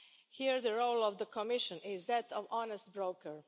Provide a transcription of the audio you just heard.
Here, the role of the Commission is that of honest broker.